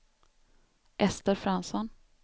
Ester Fransson